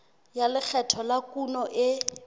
ya lekgetho la kuno e